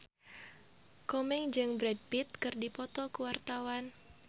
Komeng jeung Brad Pitt keur dipoto ku wartawan